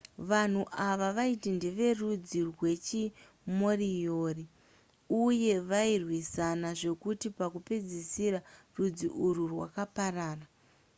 vanhu ava vaiti ndeverudzi rwechimoriori uye vairwisana zvekuti pakupedzisira rudzi urwu rwakaparara